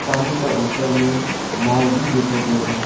पानी का ऊपर में नाव भी दिखाई दे रहा है।